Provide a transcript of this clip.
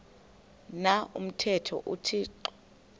na umthetho uthixo